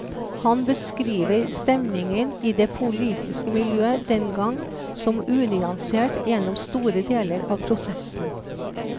Han beskriver stemningen i det politiske miljø dengang som unyansert gjennom store deler av prosessen.